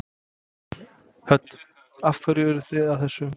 Hödd: Af hverju eruð þið að þessu?